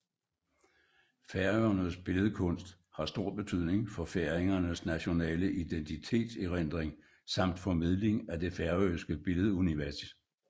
Færøernes billedkunst har stor betydning for færingernes nationale identitets erindring samt formidling af det færøske billedunivers